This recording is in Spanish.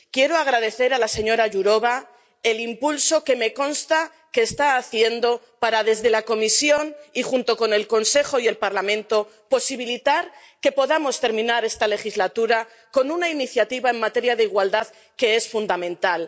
Quiero agradecer a la señora Jourová el impulso que me consta que está dando para, desde la Comisión y junto con el Consejo y el Parlamento, posibilitar que podamos terminar esta legislatura con una iniciativa en materia de igualdad que es fundamental.